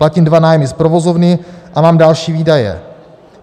Platím dva nájmy z provozovny a mám další výdaje.